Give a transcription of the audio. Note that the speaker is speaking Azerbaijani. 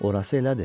Orası elədir.